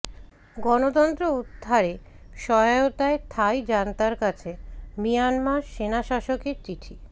গণতন্ত্র উদ্ধারে সহায়তায় থাই জান্তার কাছে মিয়ানমার সেনাশাসকের চিঠি